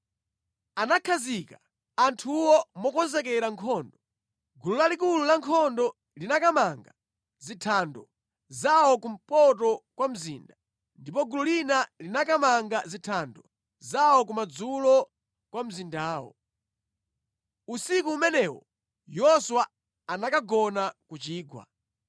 Anakhazika anthuwo mokonzekera nkhondo. Gulu lalikulu la nkhondo linakamanga zithando zawo kumpoto kwa mzinda, ndipo gulu lina linakamanga zithando zawo kumadzulo kwa mzindawo. Usiku umenewo Yoswa anakagona ku chigwa.